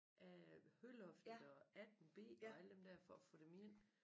Øh Høloftet og 18b og alle dem der for at få dem ind